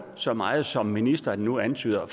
så meget som ministeren nu antyder